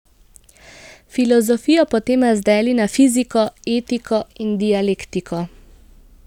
Filozofijo potem razdeli na fiziko, etiko in dialektiko.